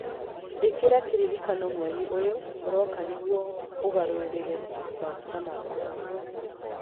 ĩkĩra kĩririkano mweri ũyũ ũroka nĩguo ũgarũrĩre maguta makwa